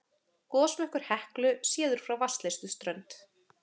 Gosmökkur Heklu séður frá Vatnsleysuströnd